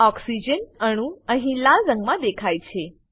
oxygen અણુ અહીં લાલ રંગમાં દેખાય છે